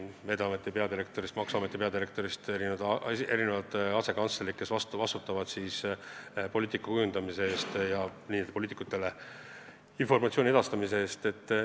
Tõesti, Veeteede Ameti peadirektor, maksuameti peadirektor ja asekantslerid vastutavad poliitika kujundamise eest ja poliitikutele informatsiooni edastamise eest.